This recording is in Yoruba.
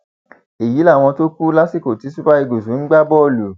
èyí làwọn tó kù lásìkò tí super eagles ń gbá bọọlù